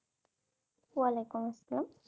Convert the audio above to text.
ওয়াওয়ালাইকুমআসসালাম